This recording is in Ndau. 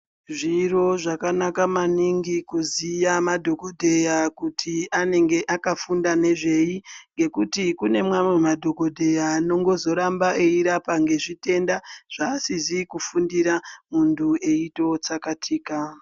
Zviro zvakanaka maningi kuziya madhokodheya kuti anenge akafunda nezvei ngekuti kune mamwe madhokodheya ano ngozoramba eirapa ngezvitenda zvaasizi kufundira muntu eito tsakatika.